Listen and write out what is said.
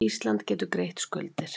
Ísland getur greitt skuldir